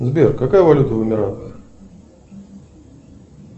сбер какая валюта в эмиратах